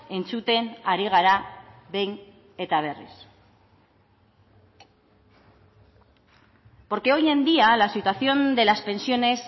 entzuten ari gara behin eta berriz porque hoy en día la situación de las pensiones